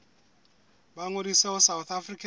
ba ngodise ho south african